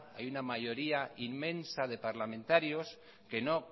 hay una mayoría inmensa de parlamentarios que no